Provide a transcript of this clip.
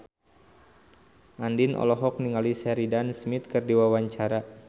Andien olohok ningali Sheridan Smith keur diwawancara